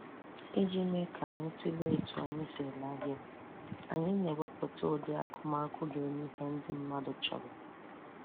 Iji mee ka anyị tulee etu anyị si ere ahịa, anyị na-ewepụta ụdị akụmakụ ga-enye ihe ndị mmadụ chọrọ